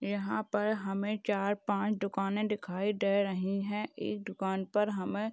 यहाँ पर हमें चार पाँच दुकाने दिखाई दे रही है एक दुकान पर हमें--